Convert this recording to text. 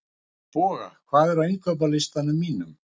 Boga, hvað er á innkaupalistanum mínum?